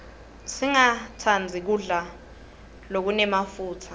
singastandzi kudla lokunemafutsa